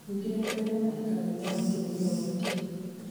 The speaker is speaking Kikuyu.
ningĩ nĩ kũrĩ arĩa mahikagia o mũtũmia ũmwe tu